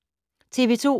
TV 2